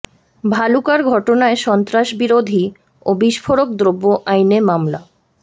ভালুকার ঘটনায় সন্ত্রাস বিরোধী ও বিস্ফোরক দ্রব্য আইনে মামলা